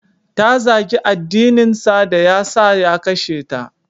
Ta zagi addininsa da ya sa ya kashe ta.